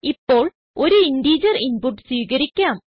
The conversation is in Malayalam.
ഇപ്പോൾ ഒരു ഇന്റിജർ ഇൻപുട്ട് സ്വീകരിക്കാം